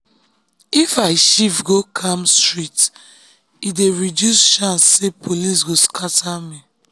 if i shift go calm street e dey reduce chance say police go scatter me.